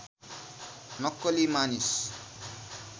नक्कली मानिस